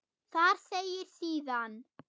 Þar segir síðan